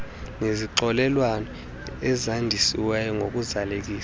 nezixokelelwano ezandisiweyo ngokuzalisekisa